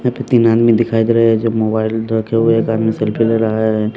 यहां पे तीन आदमी दिखाई दे रहे हैं जो मोबाइल रखे हुए है एक आदमी सेल्फी ले रहा है।